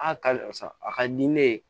A ka karisa a ka di ne ye